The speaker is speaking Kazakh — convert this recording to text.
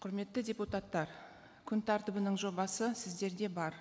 құрметті депутаттар күн тәртібінің жобасы сіздерде бар